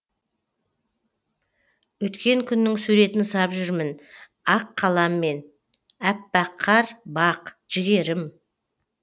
өткен күннің суретін сап жүрмін ақ қаламмен аппақ қар бақ жігерім